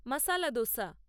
মাসালা দোসা